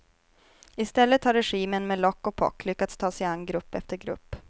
I stället har regimen med lock och pock lyckats ta sig an grupp efter grupp.